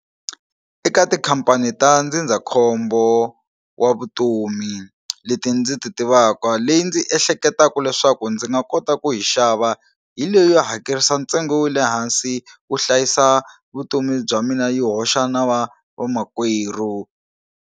Eka tikhampani ta ndzindzakhombo wa vutomi leti ndzi ti tivaka leyi ndzi ehleketaka leswaku ndzi nga kota ku yi xava hi leyo hakerisa ntsengo wa le hansi ku hlayisa vutomi bya mina yi hoxa na vamakwerhu.